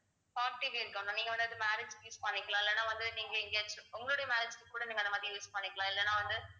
நீங்க வந்து அது marriage க்கு use பண்ணிக்கலாம் இல்லைன்னா வந்து நீங்க இங்கே உங்களுடைய marriage க்கு கூட நீங்க அந்த மாதிரி use பண்ணிக்கலாம் இல்லைன்னா வந்து